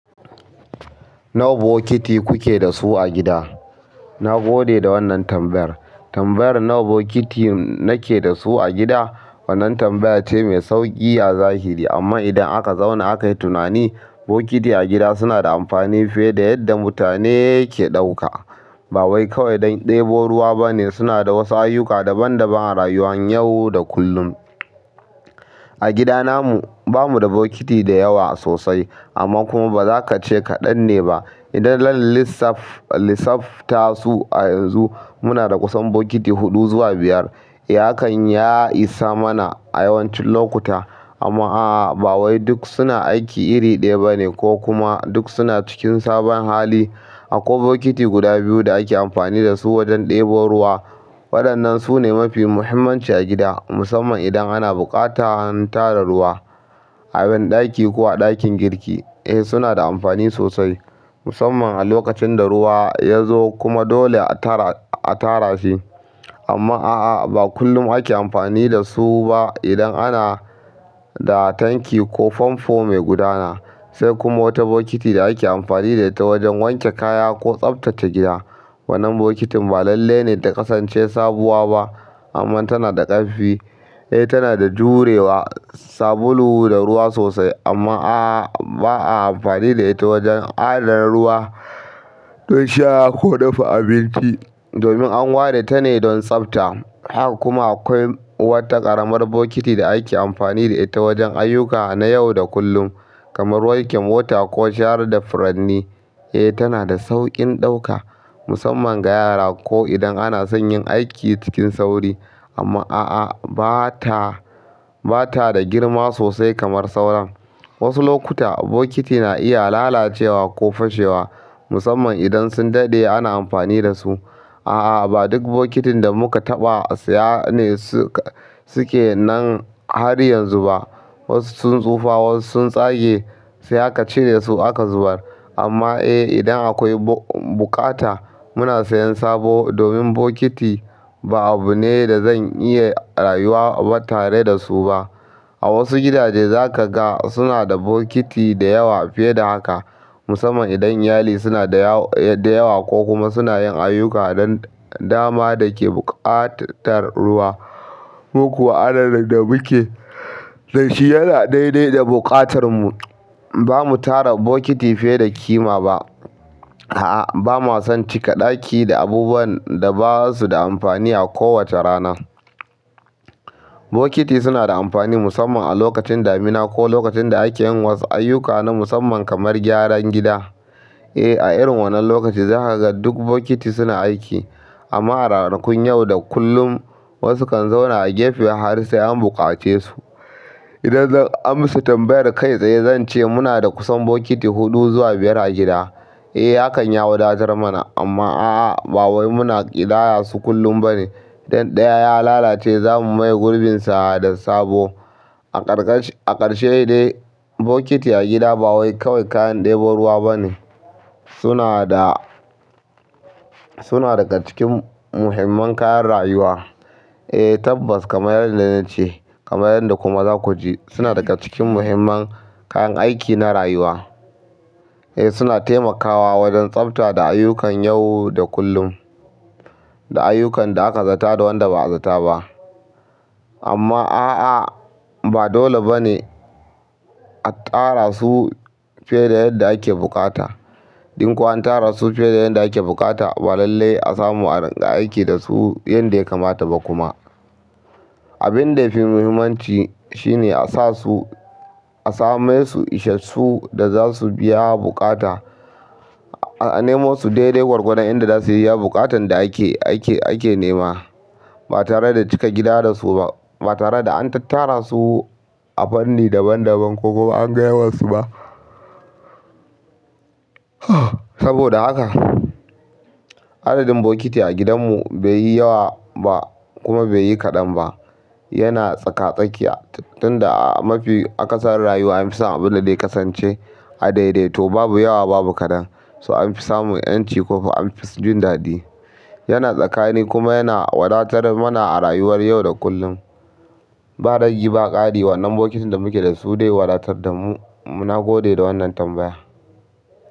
Nawa bokiti kuke da su a gida? Na gode da wannan tambayar. Tambayar nawa bokiti nake da su a gida. Wannan tambaya ce mai sauƙi a zahiri amma idan aka zauna aka yi tunani, bokiti a gida suna da amfani fiye da yadda mutane ke ɗauka. Ba wai kawai don ɗebo ruwa ba ne. Suna da wasu ayyuka daban-daban a rayuwan yau da kullum. A gida namu, ba mu da bokiti da yawa sosai amma kuma ba za ka ce kaɗan ne ba. Idan zan lissafta su a yanzu, muna da kusan bokiti huɗu zuwa biyar. Hakan ya isa mana a yawancin lokuta amma aa bawai duk suna aiki iri ɗaya bane kokuma duk suna cikin sabon hali. Akwai bokiti guda biyu da ake amfani da su wajen ɗebo ruwa. Waɗannan su ne mafi muhimmanci a gida musamman idan ana buƙatar tara ruwa a ban ɗaki ko a ɗakin girki. Eh suna da amfani sosai musamman a lokacin da ruwa ya zo kuma dole a tara a tara shi. Amma a'a ba kullum ake amfani da su ba idan ana da tanki ko famfo mai gudana. Sai kuma wata bokiti da ake amfani da ita wajen wanke kaya ko tsaftace gida. Wannan bokitin ba lalle ne ta kasance sabuwa ba amma tana da ƙarfi. Eh tana da jurewa sabulu da ruwa sosai amma aa ba'a amfani da ita wajen adana ruwa don sha ko dafa abinci domin an ware ta ne don tsafta. Haka kuma akwai wata ƙaramar bokiti da ake amfani da ita wajen ayyuka na yau da kullum kamar wanke mota ko share da furanni. Eh tana da sauƙin ɗauka musamman ga yara ko idan anason yin aiki cikin sauri amma a'a ba ta, ba ta da girma sosai kamar sauran. Wasu lokuta bokiti na iya lalacewa ko fashewa musamman idan sun daɗe ana amfani da su. A'a ba duk bokitin da muka taɓa siya ne suke nan har yanzu ba. Wasu sun tsufa wasu sun tsage sai aka cire su aka zubar. Amma eh idan akwai buƙata muna sayan sabo domin bokiti ba abu ne da zan iya rayuwa ba tare da su ba. A wasu gidaje za ka ga suna da bokiti da yawa fiye da haka musamman idan iyali suna da yawa ko kuma suna yin ayyuka don dama da ke buƙatar ruwa. Mu ko adadin da muke da shi yana daidai da buƙatar mu. Ba mu tara bokiti fiye da ƙima ba. A'a ba ma son cika ɗaki da abubuwan da ba su da amfani a kowace rana. Bokiti suna da amfani musamman a lokacin damina ko lokacin da ake yin wasu ayyuka na musamman kamar gyaran gida. Eh a irin wannan lokaci za ka ga duk bokiti suna aiki amma a ranakun yau da kullum wasu kan zauna a gefe har sai an buƙace su. Idan zan amsa tambayar kai tsaye zan ce muna da kusan bokiti huɗu zuwa biyar a gida. Eh hakan ya wadatar mana amma a'a ba wai muna ƙidaya su kullum ba ne. Idan ɗaya ya lalace za mu maye gurbinsa da sabo. A ƙarƙashin. A ƙarshe dai bokiti a gida ba wai kawai kayan ɗebo ruwa ba ne. Suna daga cikin muhimman kayan rayuwa. Eh tabbas kamar yadda na ce kamar yadda kuma za ku ji suna daga cikin muhimman kayan aiki na rayuwa. Eh suna taimakawa wajen tsafta da ayyukan yau da kullum, da ayyukan da aka zata da wanda ba a zata ba. Amma a'a ba dole ba ne a tara su fiye da yadda ake buƙata. Don ko an tara su fiye da yadda ake buƙata ba lalle a samu a ringa aiki da su yanda ya kamata ba kuma. Abin da ya fi muhimmanci shine a sasu a samo isassun da za su biya buƙata. A nemo su daidai gwargwadon inda za suyi iya buƙatan da ake nema ba tare da cika gida da su ba. Ba tare da an tara su a fanni daban-daban ko kuma an ga yawansu ba. Saboda haka adadin bokiti a gidanmu bai yi yawa ba kuma bai yi kaɗan ba. Yana tsaka-tsakiya tunda a mafi akasarin rayuwa an fi son abin da zai kasance a daidai. To babu yawa babu kaɗan. So an fi samun 'yanci ko an fi jin daɗi. Yana tsakani kuma yana wadatar mana a rayuwar yau da kullum. Ba ragi ba ƙari wannan bokitin da muke da su zai wadatar da mu. Na gode da wannan tambaya.